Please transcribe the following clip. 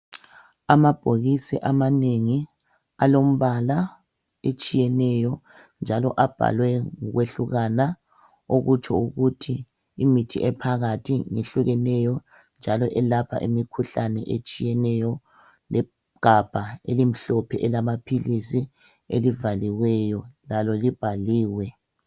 Amabhokisi amanengi alembala etshiyeneyo njalo abhalwe ngokwehlukana okutsho ukuthi imithi ephakathi ngehlukeneyo njalo elapha imikhuhlane etshiyeneyo legabha elimhlophe elamaphilisi elivaliweyo lalo libhaliwe.